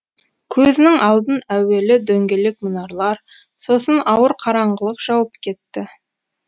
көзінің алдын әуелі дөңгелек мұнарлар сосын ауыр қараңғылық жауып кетті